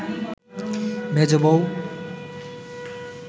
মেজ বৌ